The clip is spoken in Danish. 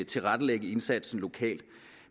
tilrettelægge indsatsen lokalt